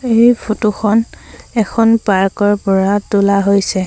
এই ফটো খন এখন পাৰ্ক ৰ পৰা তোলা হৈছে।